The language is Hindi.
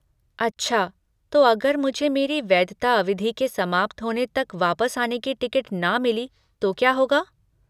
अच्छा, तो अगर मुझे मेरी वैधता अवधि के समाप्त होने तक वापस आने की टिकट ना मिली तो क्या होगा?